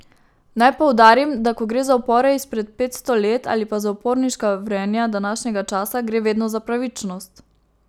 Naj poudarim, da ko gre za upore izpred petsto let ali pa za uporniška vrenja današnjega časa, gre vedno za pravičnost.